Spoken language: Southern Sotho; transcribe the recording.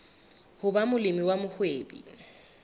ho ba molemi wa mohwebi